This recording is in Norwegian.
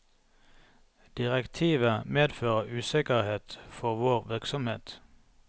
Direktivet medfører usikkerhet for vår virksomhet.